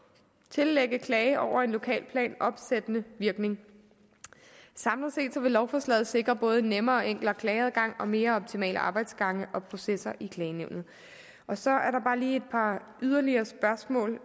tillægge en klage over en lokalplan opsættende virkning samlet set vil lovforslaget sikre både nemmere og enklere klageadgang og mere optimale arbejdsgange og processer i klagenævnet så er der bare lige et par yderligere spørgsmål